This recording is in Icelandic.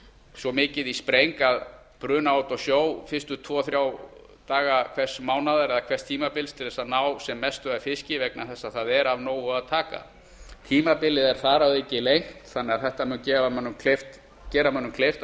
svo mikið í spreng að bruna út á sjó fyrstu tvo þrjá daga hvers mánaðar eða hvers tímabils til að ná sem mestu af fiski vegna þess að það er af nógu af taka tímabilið er þar að auki lengt þannig að þetta mun gera mönnum kleift að